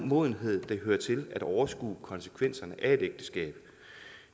modenhed der hører til at overskue konsekvenserne af et ægteskab